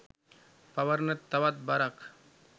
පවරන තවත් බරක්.